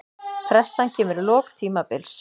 Pressan kemur í lok tímabils.